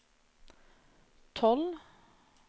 tolv